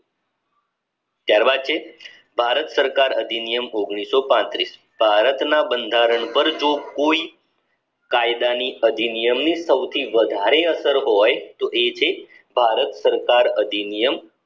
ત્યારબાદ છે ભારત ભારત સરકાર અધિનિયમ ભારતના બંધારણ પર જો કોઈ કાયદાની અધિનિયમની સૌથી વધારે અસર હોય તો એ છે ભારત સરકાર અધિનિયમ